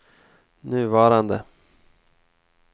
nuvarande